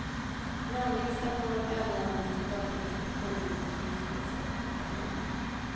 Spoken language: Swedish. Namnlistan kommer att överlämnas till datainspektionen och justitiedepartementet.